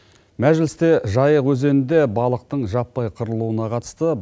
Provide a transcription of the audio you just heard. мәжілісте жайық өзенінде балықтың жаппай қырылуына қатысты